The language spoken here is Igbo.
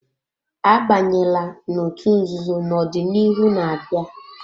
Abanyela n'otú nzuzo na ọdịnihu na-abịa!